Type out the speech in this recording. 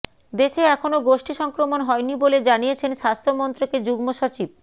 দেশে এখনও গোষ্ঠী সংক্রমণ হয়নি বলে জানিয়েছেন স্বাস্থ্যমন্ত্রকের যুগ্ম সচিব